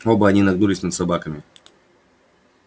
оба они нагнулись над собаками